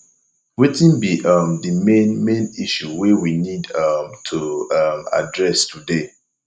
wetin be um the main main issue wey we need um to um address today